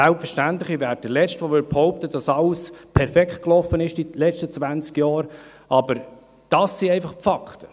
Selbstverständlich bin ich der Letzte, der behaupten würde, dass in den letzten 20 Jahren alles perfekt gelaufen ist, aber dies sind einfach die Fakten.